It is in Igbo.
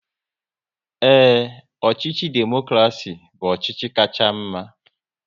Ee, ọchịchị demokrasi bụ ọchịchị kacha mma